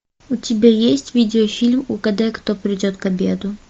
у тебя есть видеофильм угадай кто придет к обеду